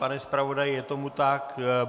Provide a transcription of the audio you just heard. Pane zpravodaji, je tomu tak?